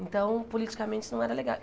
Então, politicamente, não era legal.